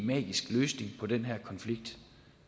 magisk løsning på den her konflikt